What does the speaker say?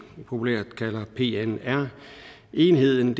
populært kalder pnr enheden